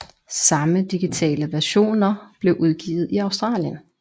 Samme digitale versioner blev udgivet i Australien